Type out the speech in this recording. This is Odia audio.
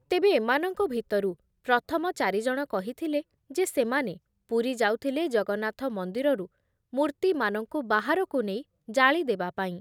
ତେବେ ଏମାନଙ୍କ ଭିତରୁ ପ୍ରଥମ ଚାରିଜଣ କହିଥିଲେ ଯେ ସେମାନେ ପୁରୀ ଯାଉଥିଲେ ଜଗନ୍ନାଥ ମନ୍ଦିରରୁ ମୂର୍ତ୍ତିମାନଙ୍କୁ ବାହାରକୁ ନେଇ ଜାଳି ଦେବାପାଇଁ ।